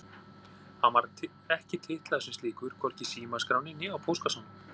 Hann var ekki titlaður sem slíkur, hvorki í símaskránni né á póstkassanum.